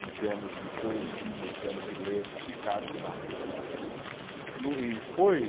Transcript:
em termos de poesia, em termos de letra, ficaram fracos. No e foi